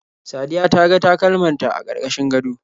Sadiya ta ga takalman ta a karkashin gado.